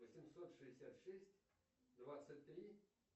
восемьсот шестьдесят шесть двадцать три